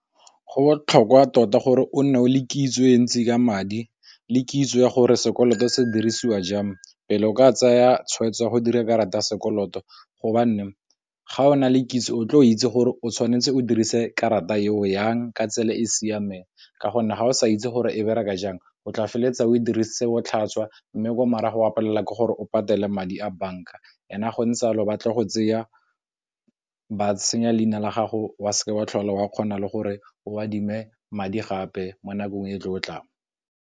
Go botlhokwa tota gore o nne o le kitso e ntsi ka madi le kitso ya gore sekoloto se dirisiwa jang pele o ka tsaya tshweetso ya go dira karata ya sekoloto gobane, ga o na le kitso o tle o itse gore o tshwanetse o dirise karata eo yang ka tsela e e siameng, ka gonne ga o sa itse gore e bereka jang o tla feleletsa o e dirisang botlhaswa, mme ko marago a palelwa ke gore o patele madi a bank-a ene a gontse a lo batla go tseya ba senya leina la gago wa seke wa tlhole wa kgona le gore o adime madi gape mo nakong e tlotlang.